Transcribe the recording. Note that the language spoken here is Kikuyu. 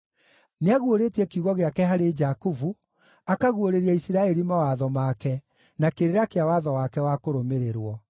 Nĩaguũrĩtie kiugo gĩake harĩ Jakubu, akaguũrĩria Isiraeli mawatho make na kĩrĩra kĩa watho wake wa kũrũmĩrĩrwo.